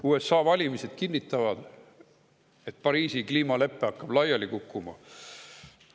USA valimised kinnitavad, et Pariisi kliimalepe hakkab laiali kukkuma.